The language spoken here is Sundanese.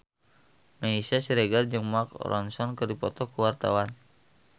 Meisya Siregar jeung Mark Ronson keur dipoto ku wartawan